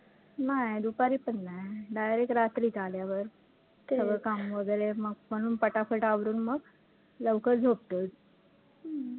नाही दुपारी पण नाही direct रात्रीचं आल्यावर सगळं काम वैगरे मग म्हणून पटापट आवरून मग लवकर झोपतोच हम्म